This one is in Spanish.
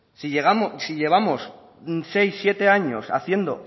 si llevamos seis siete años haciendo